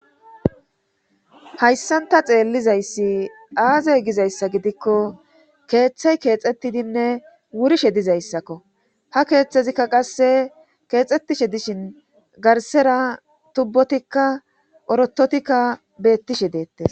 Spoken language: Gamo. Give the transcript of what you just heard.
Hayssan ta xeellizayssi aazey gizayssa gidikko keeththay keexettidinne wurishe dizayssakko ha keeththezikka qasse keexxettishe dishin garsera tubbotikka orototikka beettishe deette